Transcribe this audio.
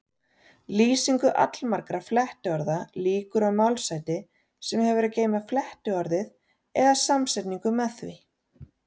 Lýsingu allmargra flettiorða lýkur á málshætti sem hefur að geyma flettiorðið eða samsetningu með því.